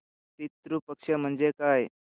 पितृ पक्ष म्हणजे काय